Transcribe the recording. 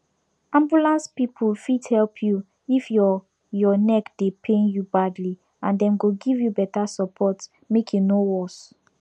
ambulance people fit help you if your your neck dey pain you badly and dem go give you better support make e no worse